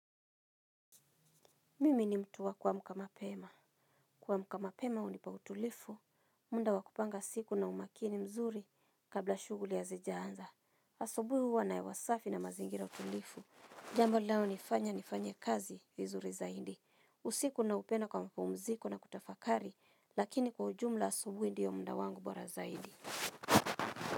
Mimi ni mtu wa kuamka mapema. Kuamka mapema unipa utulifu. Munda wa kupanga siku na umakini mzuri kabla shuguli hazijaanza. Asubui huwa na hewa safi na mazingira tulifu. Jambo linaonifanya nifanye kazi vizuri zaidi. Usiku naupenda kwa mpumziko na kutafakari. Lakini kwa ujumla asubui ndio muda wangu bora zaidi.